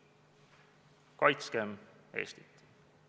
Kaitskem Eestit!